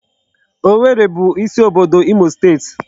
Owerri bụ isi obodo Imo.